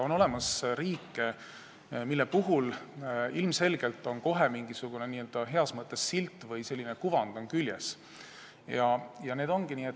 On olemas riike, millel on ilmselgelt n-ö heas mõttes silt küljes või millel on selline kuvand.